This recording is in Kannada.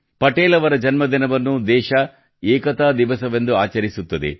ಪಟೇಲ್ ಅವರ ಜನ್ಮದಿನವನ್ನು ದೇಶ ಏಕತಾ ದಿವಸವೆಂದು ಆಚರಿಸುತ್ತದೆ